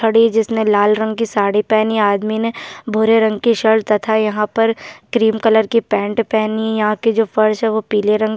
खड़ी है जिसने लाल रंग की साड़ी पहनी है आदमी ने भूरे रंग की शर्ट तथा यहाँ पर क्रीम कलर की पैंट पहनी यहाँ की जो फर्श है वो पिले रंग --